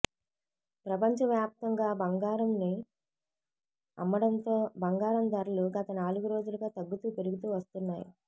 ప్రపంచ వ్యాప్తంగా బంగారం ని అమ్మడంతో బంగారం ధరలు గత నాలుగు రోజులుగా తగ్గుతూ పెరుగుతూ వస్తున్నాయి